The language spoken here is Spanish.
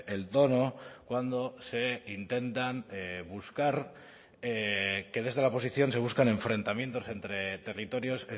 el tono cuando se intentan buscar que desde la oposición se buscan enfrentamientos entre territorios